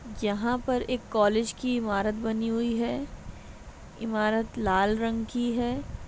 यहाँ पर एक कॉलेज की इमारत बनी हुई है इमारत लाल रंग की है।